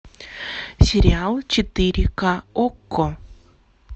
сериал четыре ка окко